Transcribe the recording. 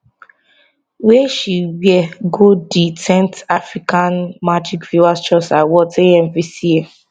wey she wear go di 10th africa magic viewers choice awards amvca